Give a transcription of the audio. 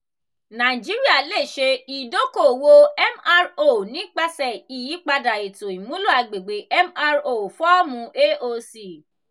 naijiria le ṣe idoko-owo mro nipasẹ iyipada eto imulo agbegbe mro fọọmu aoc.